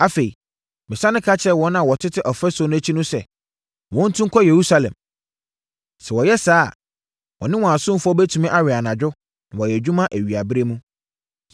Afei, mesane ka kyerɛɛ wɔn a wɔtete ɔfasuo no akyi no sɛ, wɔntu nkɔ Yerusalem. Sɛ wɔyɛ saa a, wɔne wɔn asomfoɔ bɛtumi awɛn anadwo, na wayɛ adwuma awiaberɛ mu.